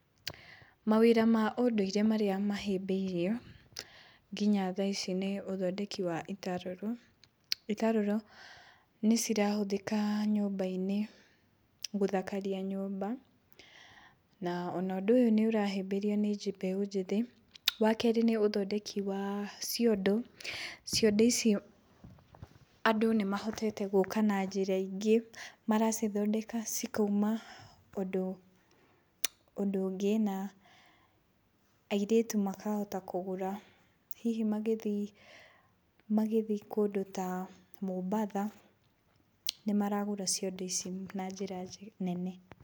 Mawĩra ma ũndũire marĩa mahĩmbĩirwo, nginya thaa ici nĩ ũthondeki wa itarũrũ, itatũrũ nĩ irahũthĩka nyũmba-inĩ, gũthakaria nyũmba na ona ũndũ ũyũ nĩ ũrahĩmbĩrio nĩ mbeũ njĩthĩ. Wa kerĩ nĩ ũthondeki wa ciondo, ciondo icio andũ nĩ mahotete gũka na njĩra ingĩ maracithondeka cikauma ũndũ, ũndũ ũngĩ na airĩtu makahota kũgũra hihi magĩthiĩ, magĩthiĩ kũndũ ta Mombatha, nĩmaragũra ciondo icio na njĩra nene.